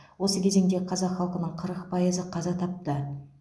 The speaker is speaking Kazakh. осы кезеңде қазақ халқының қырық пайызы қаза тапты